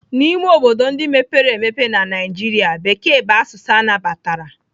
N'ime obodo ndị mepere emepe na Naijiria, Bekee bụ asụsụ anabatara.